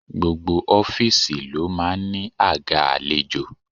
Gbogbo ọ́fíìsì ló máa ń ní àga àlejò.